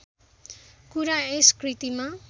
कुरा यस कृतिमा